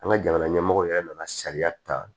An ka jamana ɲɛmɔgɔ yɛrɛ nana sariya ta